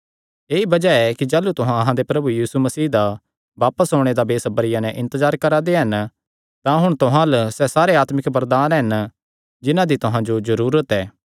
ऐई बज़ाह ऐ कि जाह़लू तुहां अहां दे प्रभु यीशु मसीह दा बापस ओणे दा बेसबरिया नैं इन्तजार करा दे हन तां हुण तुहां अल्ल सैह़ सारे आत्मिक वरदान हन जिन्हां दी तुहां जो जरूरत ऐ